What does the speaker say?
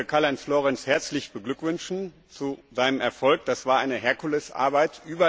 Ich möchte Karl Heinz Florenz herzlich beglückwünschen zu seinem Erfolg. Das war eine Herkulesarbeit.